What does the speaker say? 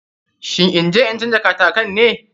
Shin inje in canja katakin ne?